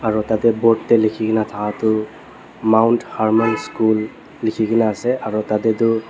aro tatey board dae lekhikena thaka tuh mount hermon school lekhikena ase aro tatey tuh.